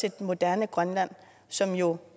et moderne grønland som jo